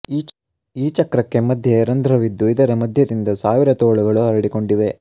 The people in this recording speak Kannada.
ಈ ಚಕ್ರಕ್ಕೆ ಮಧ್ಯೆ ರಂಧ್ರವಿದ್ದು ಇದರ ಮಧ್ಯದಿಂದ ಸಾವಿರ ತೋಳುಗಳು ಹರಡಿಕೊಂಡಿವೆ